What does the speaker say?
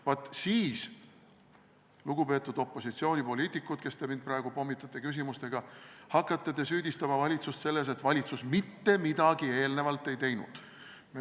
Vaat siis, lugupeetud opositsioonipoliitikud, kes te mind praegu pommitate küsimustega, hakkate te süüdistama valitsust selles, et valitsus mitte midagi eelnevalt ei teinud.